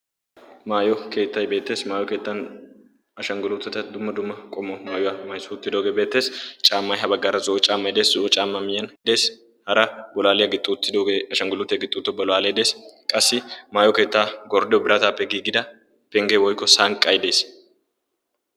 maayo keettai beettees maayo keettan ashangguluutata dumma dumma qomma maayuwaa maisuuttidoogee beettees caammai ha baggaara zo'o caammai de'es zo'o caammaa miyyan dees hara bolaaliyaa gixxouttidoogee ashanguluutiyaa gixuuto bolaalei dees qassi maayo keettaa goriiyo biraatappe giigida pengge woykko sanqqai dees